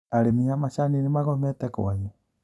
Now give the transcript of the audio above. Arĩmi a macani nĩmagomete kwanyu?